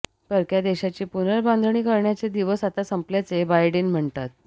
परक्या देशांची पुनर्बांधणी करण्याचे दिवस आता संपल्याचे बायडेन म्हणतात